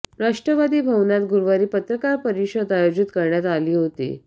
राष्ट्रवादी भवनात गुरुवारी पत्रकार परिषद आयोजित करण्यात आली होती